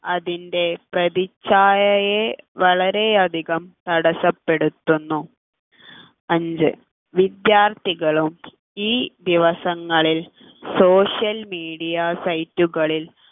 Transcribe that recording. അതിൻ്റെ പ്രതിച്ഛായയെ വളരെയധികം തടസ്സപ്പെടുത്തുന്നു അഞ്ച് വിദ്യാർത്ഥികളും ഈ ദിവസങ്ങളിൽ social media site കളിൽ